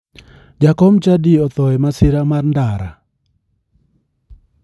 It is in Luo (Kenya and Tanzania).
Jakom chadi otho e masira mar ndara.